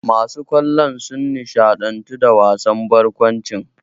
Masu kallon sun nishaɗantu da wasan barkwancin.